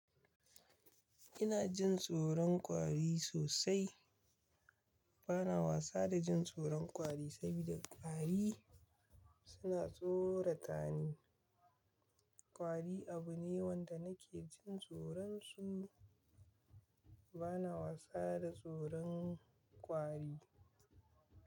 Ina jin tsoron kwari sosai. Bana wasa da jin tsoron kwari saboda kwari suna tsorata ni. Kwari abu ne wanda nake jin tsoron su. Bana wasa da tsoron kwari.